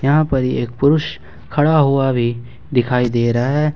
यहां पर एक पुरुष खड़ा हुआ भी दिखाई दे रहा है।